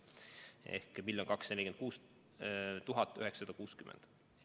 Ehk siis 1 246 960 doosi.